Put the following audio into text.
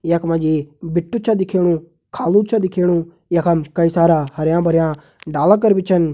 यख मा जी भिट्टु छ दिखेणु खालु छ दिखेणु यखम कई सारा हरयां भरयां डाला कर भी छन।